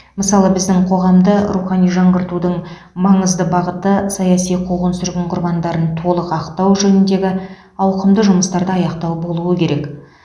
мысалы біздің қоғамды рухани жаңғыртудың маңызды бағыты саяси қуғын сүргін құрбандарын толық ақтау жөніндегі ауқымды жұмыстарды аяқтау болуы керек